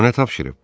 O nə tapşırıb?